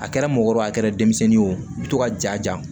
A kɛra mɔgɔkɔrɔba a kɛra denmisɛnnin ye o i bɛ to ka ja